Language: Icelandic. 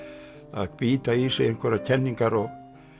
að bíta í sig einhverjar kenningar og